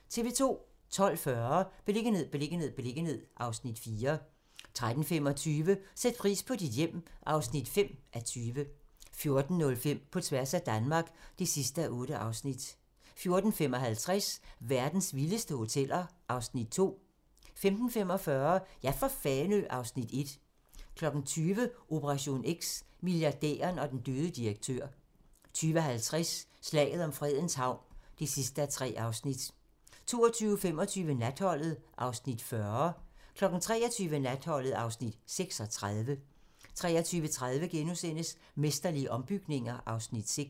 12:40: Beliggenhed, beliggenhed, beliggenhed (Afs. 4) 13:35: Sæt pris på dit hjem (5:20) 14:05: På tværs af Danmark (8:8) 14:55: Verdens vildeste hoteller (Afs. 2) 15:45: Ja for Fanø (Afs. 1) 20:00: Operation X: Milliardæren og den døde direktør 20:50: Slaget om Fredens Havn (3:3) 22:25: Natholdet (Afs. 40) 23:00: Natholdet (Afs. 36) 23:30: Mesterlige ombygninger (Afs. 6)*